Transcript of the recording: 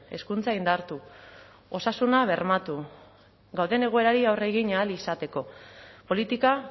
hezkuntza indartu osasuna bermatu gauden egoerari aurre egin ahal izateko politika